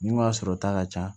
Ni ka sɔrɔ ta ka ca